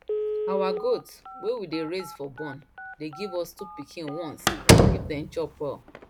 our goat wey we dey raise for born dey give us two pikin once if dem chop well